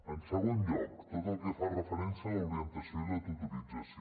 en segon lloc tot el que fa referència a l’orientació i la tutorització